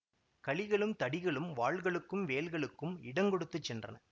கழிகளும் தடிகளும் வாள்களுக்கும் வேல்களுக்கும் இடங்கொடுத்துச் சென்றன